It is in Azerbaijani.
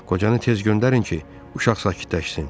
Qocanı tez göndərin ki, uşaq sakitləşsin.